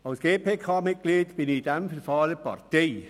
Als GPK-Mitglied bin ich in diesem Verfahren Partei.